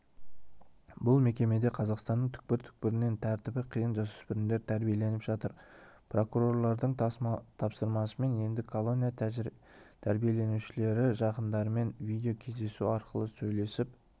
бұл мекемеде қазақстанның түкпір-түкпірінен тәртібі қиын жасөспірімдер тәрбиеленіп жатыр прокурорлардың тапсырмасымен енді колония тәрбиеленушілері жақындарымен видеокездесу арқылы сөйлесіп